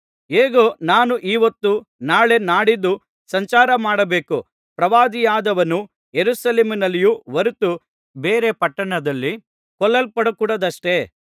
ಹೇಗೂ ನಾನು ಈ ಹೊತ್ತು ನಾಳೆ ನಾಡಿದ್ದು ಸಂಚಾರ ಮಾಡಬೇಕು ಪ್ರವಾದಿಯಾದವನು ಯೆರೂಸಲೇಮಿನಲ್ಲಿಯೇ ಹೊರತು ಬೇರೆ ಪಟ್ಟಣದಲ್ಲಿ ಕೊಲ್ಲಲ್ಪಡಕೂಡದಷ್ಟೆ